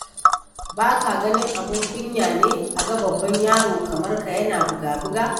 Ba ka ganin abun kunya ne a ga babban yaro kamar ka yana buga-buga?